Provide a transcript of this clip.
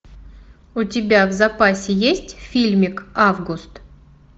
у тебя в запасе есть фильмик август